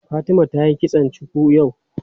Fatima tayi kitson cuku yau.